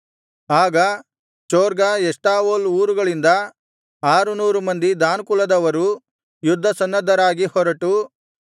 ಆಗ ಚೊರ್ಗಾ ಎಷ್ಟಾವೋಲ್ ಊರುಗಳಿಂದ ಆರುನೂರು ಮಂದಿ ದಾನ್ ಕುಲದವರು ಯುದ್ಧ ಸನ್ನದ್ಧರಾಗಿ ಹೊರಟು